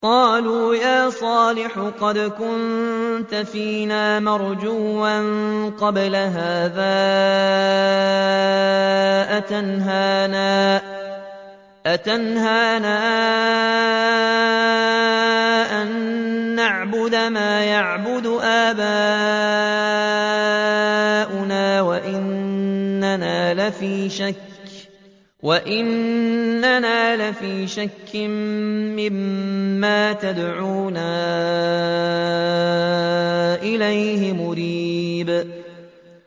قَالُوا يَا صَالِحُ قَدْ كُنتَ فِينَا مَرْجُوًّا قَبْلَ هَٰذَا ۖ أَتَنْهَانَا أَن نَّعْبُدَ مَا يَعْبُدُ آبَاؤُنَا وَإِنَّنَا لَفِي شَكٍّ مِّمَّا تَدْعُونَا إِلَيْهِ مُرِيبٍ